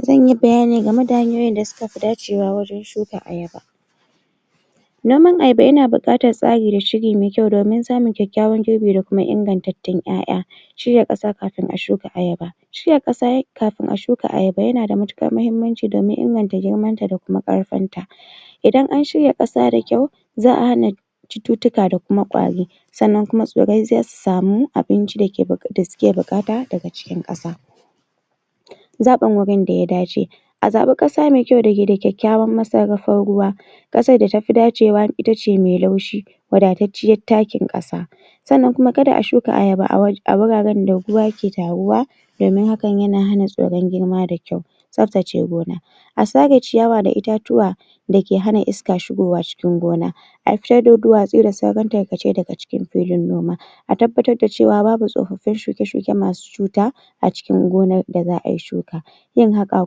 Zan yi bayani game da hanyoyi da suka fi dacewa wajan shuka Ayaba noman Ayaba yana buƙatar tsari da shiri mai kyau domin samun kyakyawan girbi da kuma ingantattun 'ya'ya shirya ƙasa kafin a shuka Ayaba shirya ƙasa kafin ai shuka Ayaba yana da matuƙar mahimmanci don min inganta girman ta da ƙarfin ta idan an shirya ƙasa da kyau za'a hana cututtuka da kuma kwari sannan kuma tsirrai zasu samu abinci da ke da suke buƙata daga cikin ƙasa zaɓin wurin da ya dace a zaɓi ƙasa mai kyau dake da kyakykyawan masarrafar ruwa ƙasar da tafi dacewa itace mai laushi wadatacciyar takin ƙasa sannan kuma kaga a shuka Ayaba a waje a wuraren da ruwa yake taruwa domin hakan yana hana tsirai girma da kyau tsaftace gona a sare ciyawa da itatuwa dake hana iska shigowa cikin gona a fitar da duwatsu da sauran tarkace daga cikin filin noma a tabbatar da cewa babu tsoffin shuke-shuke masu cuta a cikin gonar da za'a yi shuka yin haƙa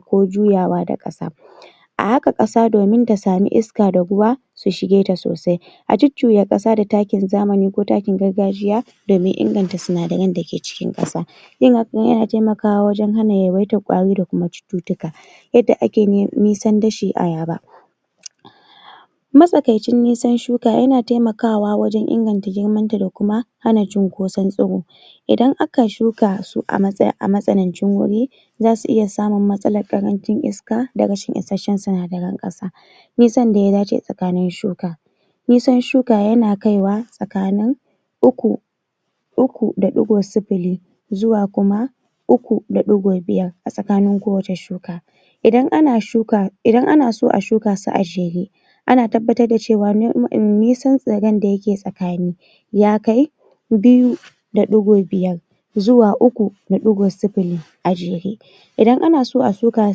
ko juyawa da ƙasa a haƙa kasa domin ta sami iska da ruwa su shige tA sosai a jujjuya ƙasa da takin zamani ko takin gargajiya domin inganta sinadaran dake cikin ƙasa yin hakan yan taimakawa wajan hana yawaitar kwari da cututtuka Yadda ake nisan dashi a Ayaba matsakaici nisan shuka yana taimakawa wajan inganta girman ta da kuma hana cunkoson tsiro idan aka shuak su a matsa a matsakaicin wuri zasu iya samun matsalar ƙarancin iska da rashin isashshan sinadaran ƙasa Nisan da ya dace tsakanin shuka nisan shuka yana kai wa tsakanin uku uku da ɗigo sifili zuwa kuma uku da ɗigo biyar a tsakanin kowacce shuka idan ana shuka, idan ana so a shuak su a jere ana tabbbatar da cewa um nisan tsirran da yake tsakini ya kai biyu da ɗigo biyar zuwa uku da ɗigo sifili a jere idan ana so a shuka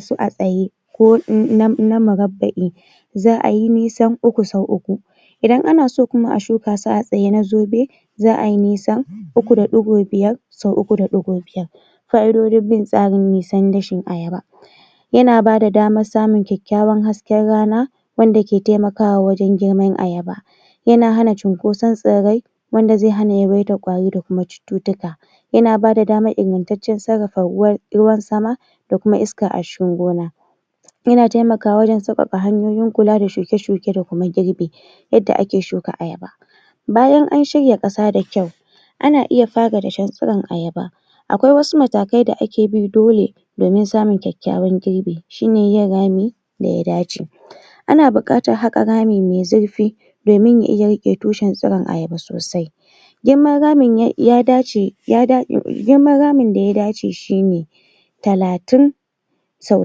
su a tsaye ko na um na murabba'i za'a yi nisan uku sau uku idan ana so kuma a shuka su a tsaye na zobe za'a yi nisan uku da ɗigo biyar sau uku da ɗigo biyar Fa'idodin bin tsarin nisan dashin Ayaba Yana bada damar samun kyakywan hasken rana wanda ke taimakawa wajan girman Ayaba yana hana cinkosan tsirrai wanda zai hana yawaitar gwari da cututtuka yana bada damar ingantacen sarrafa ruwan ruwan sama da kuma iska a cikin gona yana taimakawa wajan sauƙaƙa hanyoyin kula da shuke shuke da kuam girbi Yadda ake shuka Ayaba bayan an shirya ƙasa da kyau ana iya fara dashen tsiron Ayaba akwai wasu matakai da ake bi dole domin samun kyakykyawan girbi shine yin rami da ya dace ana buƙatar haƙa rami mai zirfi domin ya iya riƙe tushen tsiran Aya sosai girman ramin ya dace um girman ramin da ya dace shine talatin sau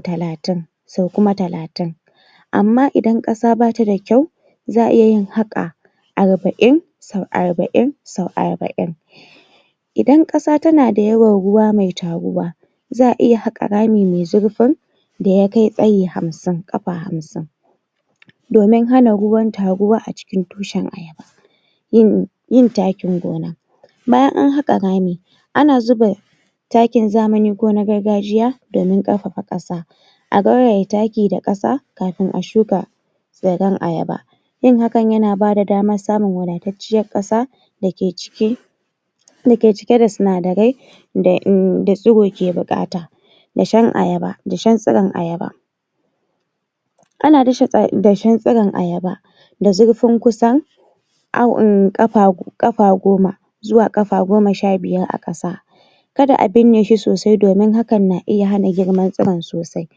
talatin sau kuma talatin amma idan ƙasa bata kyau za'a iya yin haƙa arba'in sau arba'in sau arba'in idan ƙasa tana da yawan ruwa mai taruwa za'a iya haƙa rami mai zurfin zayi hamsin ƙafa hamsin domin hana ruwan taruwa a cikin tushen Ayaba Yin yin takin gona bayan an haƙa rami ana zuba ana zuba takin zamani ko na gargajiya domin ƙarfafa ƙasa a gauraya taki da ƙasa kafin a shuka tsirran Ayaba yin hakan yana bada damar samu wadatacciyar ƙasa da ciki dake cike da sinadarai da um da tsiro ke buƙata dashin Ayaba, dashen tsiron Ayaba Ana dasa tsi dashen tsiron Ayaba da zurfin kusan au um ƙafa ƙafa goma zuwa ƙafa goma sha biyar a ƙasa kada a bine shi sosai domin hakan na iya hana girma tsiron sosai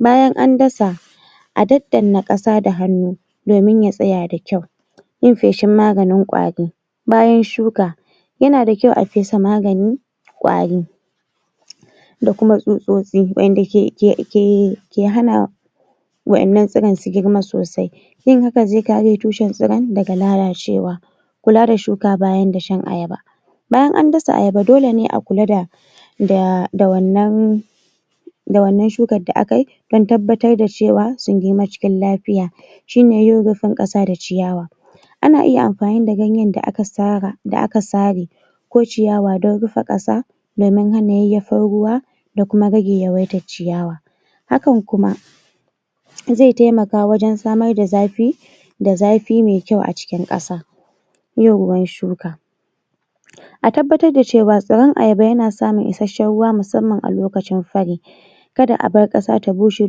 bayan an dasa a daddana ƙasa da hannu domin ya tsya da kyau yin feshin maganin kwari bayan shuka yana da kyau a fesa magani kwari waɗanda ke ke ke hana waɗannan tsiron su girma sosai yin hakan zai kare tushen tsiron daga lalacewa kula na shuka bayan dashan Ayaba bayan an dasa Ayaba dole ne a kula da da da da wannan da wannan shukar da akai dan tabbatar da cewa sun girma cikin lafiya shine yin rufin ƙasa da ciyawa ana iya amfani da gayan da aka sara, aka sare ko ciyawa dan rufa ƙasa domin hana yayyafar ruwa da kuma rage yawaitar ciyawa hakan kuma zai taimaka wajan samar da zafi da zafi mai kyau a cikin ƙasa yin ruwan shuka a tabbatar da cewa tsiran Ayaba yana samun isashshan ruwa musamman a lokacin fari kada a bar ƙasa ta bushe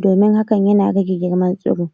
domin hakan yan rage girman tsiri